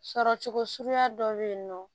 Sɔrɔcogo suguya dɔ bɛ yen nɔ